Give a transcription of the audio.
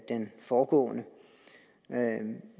den foregående